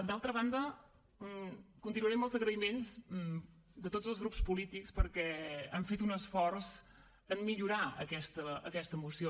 d’altra banda continuaré amb els agraïments de tots els grups polítics perquè han fet un esforç en millorar aquesta moció